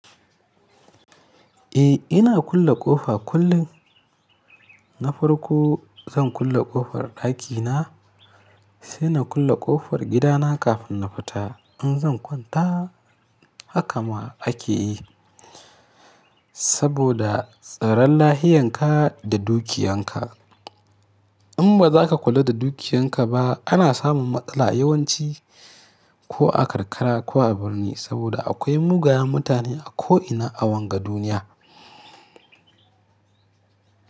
Eh ina kulle ƙofa kullum. Na farko zan kulle ƙofar ɗakina sai na kulle ƙofar gidana kafin na fita in zan kwanta. Haka ma ake yi saboda tsaron lahianka da dukiyanka. In ba za ka kula da dukiyanka ba ana samun matsala yawanci ko a karkara ko a birni saboda akwai mugayen mutane a ko ina a wanga duniya.